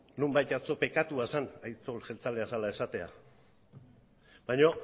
nonbait atzo pekatua zen aitzol jeltzalea zela esatea baina